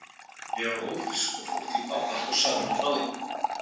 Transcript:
Ég var ófrísk og fór til pabba og sagði honum af því.